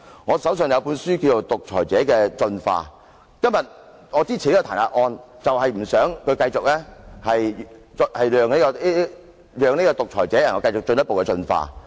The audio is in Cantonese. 我手上有一本書名為《獨裁者的進化》，我今天支持這項彈劾議案，是不想讓這個獨裁者繼續進一步進化。